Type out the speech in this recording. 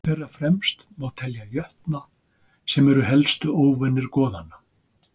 Þeirra fremst má telja jötna sem eru helstu óvinir goðanna.